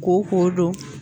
Koko don